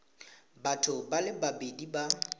batho ba le babedi ba